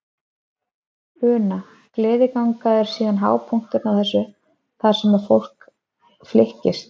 Una: Gleðiganga er síðan hápunkturinn á þessu þar sem að alveg fólk flykkist?